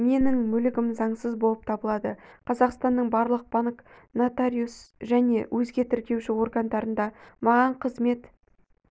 менің мүлігім заңсыз болып табылады қазақстанның барлық банк нотариус және өзге тіркеуші органдарында маған қызмет